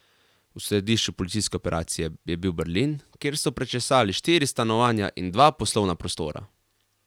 V središču policijske operacije je bil Berlin, kjer so prečesali štiri stanovanja in dva poslovna prostora.